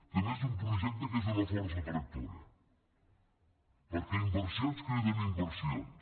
també és un projecte que és una força tractora perquè inversions criden inversions